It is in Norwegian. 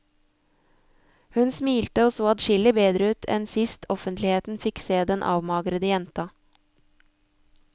Hun smilte og så adskillig bedre ut enn sist offentligheten fikk se den avmagrede jenta.